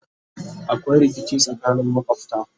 akwai rikici tsakanin makwafta